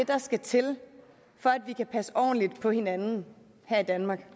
der skal til for at vi kan passe ordentligt på hinanden her i danmark